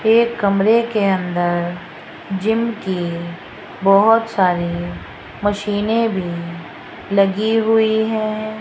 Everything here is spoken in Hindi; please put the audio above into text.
एक कमरे के अंदर जिम की बहोत सारी मशीने भी लगी हुई है।